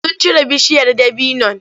Sun cire bishiyar dabinon.